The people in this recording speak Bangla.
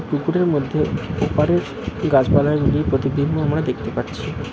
পুকুরের মধ্যে ওপারের গাছপালার প্রতিবিম্ব আমরা দেখতে পাচ্ছি।